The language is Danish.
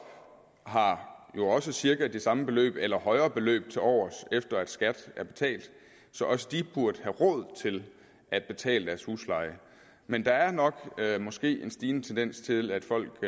har jo også cirka det samme beløb eller et højere beløb tilovers efter at skatten er betalt så også de burde have råd til at betale deres husleje men der er nok måske en stigende tendens til at folk